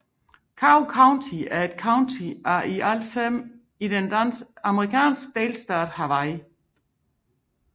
Kauai County er et county af i alt fem i den amerikanske delstat Hawaii